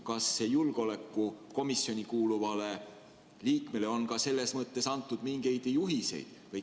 Ja kas julgeolekukomisjoni kuuluvale liikmele on antud ka mingeid juhiseid?